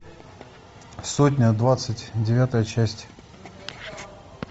сотня двадцать девятая часть